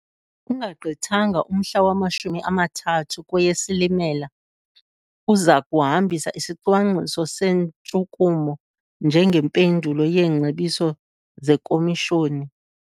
Ungagqithanga umhla wama-30 kweyeSilimela, uza kuhambisa isicwangciso sentshukumo njengempendulo yeengcebiso zeKomishoni.